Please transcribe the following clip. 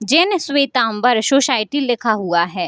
Gene Shwetambar society लिखा हुआ है।